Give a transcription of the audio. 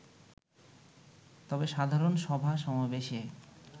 তবে সাধারণ সভা-সমাবেশে